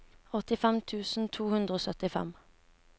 åttifem tusen to hundre og syttifem